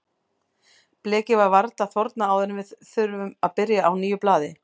Blekið var varla þornað áður en við þurftum að byrja á nýju blaði.